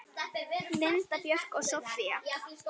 Linda Björk og Soffía.